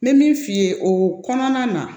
N bɛ min f'i ye o kɔnɔna na